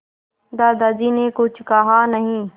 दादाजी ने कुछ कहा नहीं